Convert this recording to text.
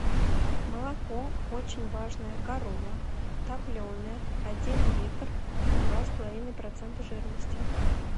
молоко очень важная корова топленое один литр два с половиной процента жирности